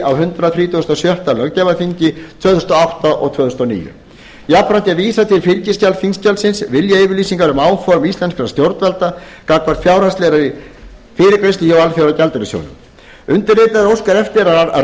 á hundrað þrítugasta og sjötta löggjafarþingi tvö þúsund og átta til tvö þúsund og níu jafnframt er vísað til fylgiskjals þingskjalsins viljayfirlýsingar um áform íslenskra stjórnvalda vegna fjárhagslegrar fyrirgreiðslu hjá alþjóðagjaldeyrissjóðnum undirritaður óskar eftir að